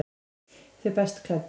Þau best klæddu